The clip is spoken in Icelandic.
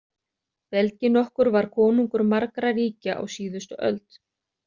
Belgi nokkur var konungur margra ríkja á síðustu öld.